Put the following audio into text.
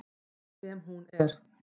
Sem hún er.